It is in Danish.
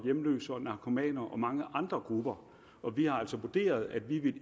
hjemløse narkomaner og mange andre grupper vi har altså vurderet at vi